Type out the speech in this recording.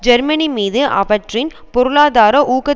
Germany மீது அவற்றின் பொருளாதார ஊக்க